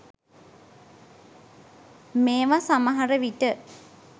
මේව සමහර විට